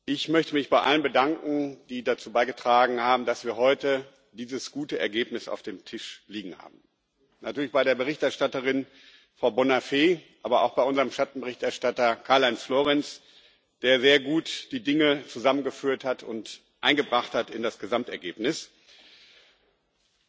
Ich möchte mich bei allen bedanken, die dazu beigetragen haben, dass wir heute dieses gute Ergebnis auf dem Tisch liegen haben natürlich bei der Berichterstatterin Frau Bonafè, aber auch bei unserem Schattenberichterstatter Karl Heinz Florenz, der sehr gut die Dinge zusammengeführt und in das Gesamtergebnis eingebracht hat.